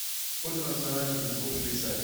сколько национальных языков в швейцарии